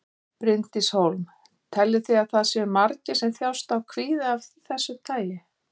Bryndís Hólm: Teljið þið að það séu margir sem þjáist af kvíða af þessu tagi?